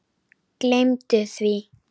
Gleymdu því!